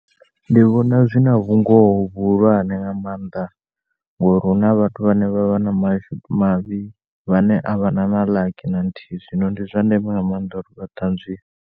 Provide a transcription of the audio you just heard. Ndi vhona zwina vhungoho vhuhulwane nga maanda ngori huna vhathu vhane vhavha na mashudu mavhi vhane a vha na na laki na luthihi zwino ndi zwa ndeme nga maanḓa u tanzwiwa.